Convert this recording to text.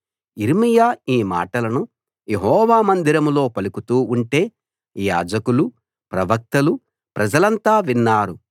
యిర్మీయా యీ మాటలను యెహోవా మందిరంలో పలుకుతూ ఉంటే యాజకులూ ప్రవక్తలూ ప్రజలంతా విన్నారు